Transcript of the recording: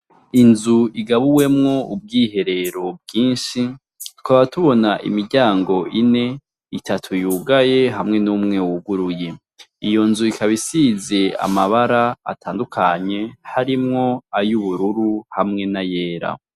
Inzu igabuwemwo ubwiherero bwinshi tukaba tubona imiryango ine ,itatu yugaye hamwe n'umwe wuguruye . Iyo nzu ikaba isize amabara atandukanye harimwo ay'ubururu hamwe n'ayera.